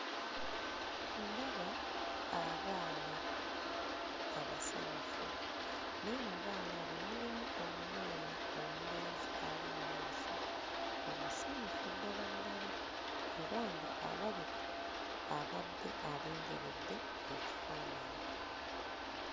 Ndaba abaana abasanyufu naye mu baana abo mulimu omwana omulenzi ali mmaaso omusanyufu ddala ddala era ng'alabika abadde alindiridde ekifaananyi.